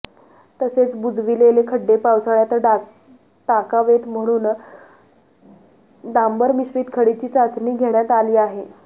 तसेच बुजविलेले खड्डे पावसाळ्यात टाकावेत म्हणून डांबर मिश्रीत खडीची चाचणी घेण्यात आली आहे